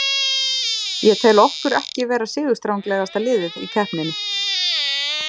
Ég tel okkur ekki vera sigurstranglegasta liðið í keppninni.